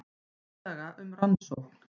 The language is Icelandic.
Tillaga um rannsókn